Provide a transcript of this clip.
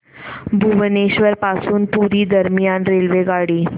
भुवनेश्वर पासून पुरी दरम्यान रेल्वेगाडी